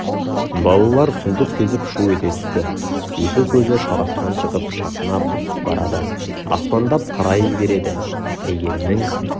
балалар сұмдық сезіп шу ете түсті екі көзі шарасынан шығып шатынап барады аспандап қарай береді әйгерімнің